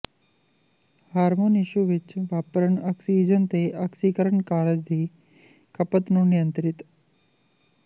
hormone tissue ਵਿੱਚ ਵਾਪਰਨ oxygen ਅਤੇ ਆਕਸੀਕਰਨ ਕਾਰਜ ਦੀ ਖਪਤ ਨੂੰ ਨਿਯੰਤ੍ਰਿਤ